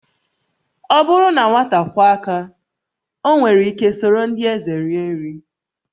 Ọ bụrụ na nwata kwọọ aka, o nwere ike soro ndị eze rie nri